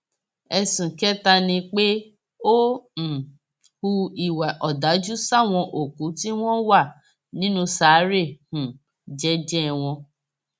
ẹsùn kẹta ni pé ó um hu ìwà ọdájú sáwọn òkú tí wọn wà nínú ṣàárẹ um jẹẹjẹ wọn